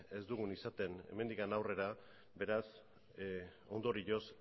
ez dugun izaten hemendik aurrera beraz ondorioz